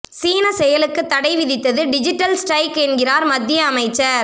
சீன செயலுக்கு தடை விதித்தது டிஜிட்டல் ஸ்டிரைக் என்கிறார் மத்திய அமைச்சர்